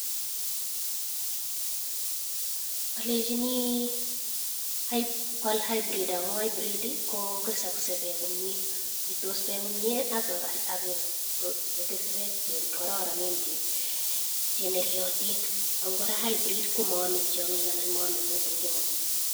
Alechini kwal hybrid amun hybrid kokesakse bek komnye itos bek komnye ak kekese bek che kararanen cheneriotin ako kora [cs hybrid komaame tionyik anan maame kutik en ing'weny.